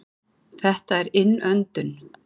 Þetta er innöndun.